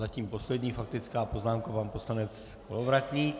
Zatím poslední faktická poznámka pan poslanec Kolovratník.